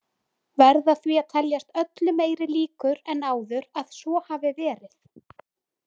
Verða því að teljast öllu meiri líkur en áður að svo hafi verið.